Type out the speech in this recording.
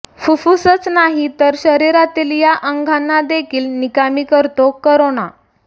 फुफ्फुसच नाही तर शरीरातील या अंगांना देखील निकामी करतो कोरोना